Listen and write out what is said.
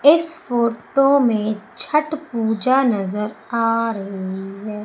इस फोटो में छठ पूजा नजर आ रही है।